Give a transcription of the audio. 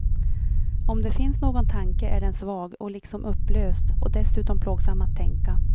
Om det finns någon tanke är den svag och liksom upplöst och dessutom plågsam att tänka.